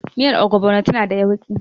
Miyar Ogbono tana da yauƙi.